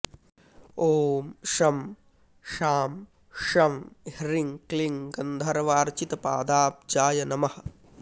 ॐ शं शां षं ह्रीं क्लीं गन्धर्वार्चितपादाब्जाय नमः